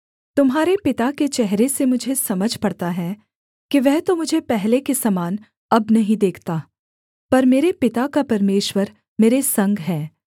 तुम्हारे पिता के चेहरे से मुझे समझ पड़ता है कि वह तो मुझे पहले के समान अब नहीं देखता पर मेरे पिता का परमेश्वर मेरे संग है